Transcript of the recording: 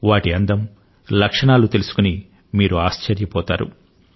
వాటి అందం లక్షణాలు తెలుసుకుని మీరు ఆశ్చర్యపోతారు